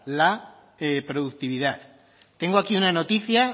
la productividad tengo aquí una noticia